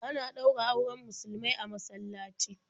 Ana ɗaura auren musulmai a masallaci.